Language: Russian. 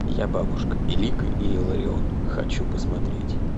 я бабушка илико и илларион хочу посмотреть